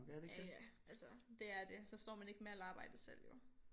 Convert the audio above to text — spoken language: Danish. Ja ja altså det er det så står man ikke med alt arbejdet selv jo